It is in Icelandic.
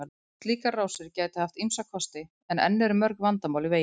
Slíkar rásir gætu haft ýmsa kosti en enn eru mörg vandamál í veginum.